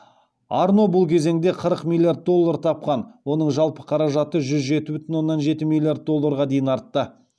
арно бұл кезеңде қырық миллиард доллар тапқан оның жалпы қаражаты жүз жеті бүтін оннан жеті миллиард долларға дейін артты